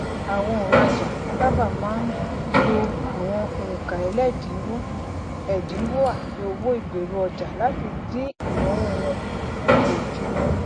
àwọn onrajà sáabà máa ń lo àwọn onkaẹlẹdininwo ẹdinwo àti owó ìgberuọja láti dín ìnáwó wọn kù lójoojúmó